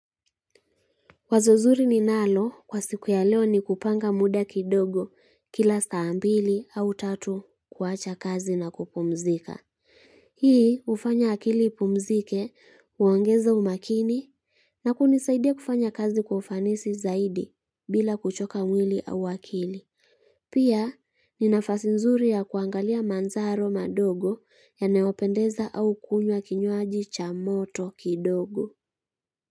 Wazo nzuri ninalo kwa siku ya leo ni kupanga muda kidogo kila saa mbili au tatu kuwacha kazi na kupumzika. Hii hufanya akili ipumzike, kuongeza umaakini na kunisaidia kufanya kazi kwa ufanisi zaidi bila kuchoka mwili au akili. Pia ni nafasi nzuri ya kuangalia manzaro madogo yanayopendeza au kunywa kinywaji cha moto kindogo.